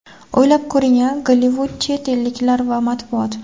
O‘ylab ko‘ring-da: Gollivud, chet elliklar va matbuot.